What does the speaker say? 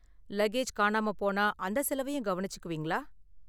Luggage காணாம போனா, அந்த செலவையும் கவனிச்சுக்குவீங்களா?